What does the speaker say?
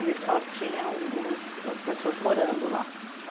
Eles só tinham as pessoas morando lá.